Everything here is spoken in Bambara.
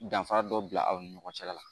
Danfara dɔ bila aw ni ɲɔgɔn cɛla la